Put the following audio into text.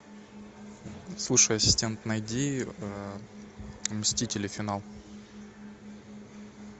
слушай ассистент найди мстители финал